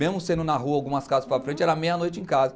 Mesmo sendo na rua, algumas casas para frente, era meia-noite em casa.